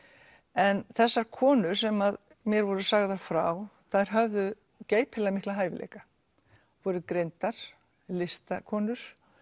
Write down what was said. en þessar konur sem mér var sagt frá þær höfðu geypilega mikla hæfileika voru greindar listakonur